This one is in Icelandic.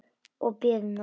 Og biðina.